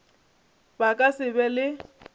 ba ka se be le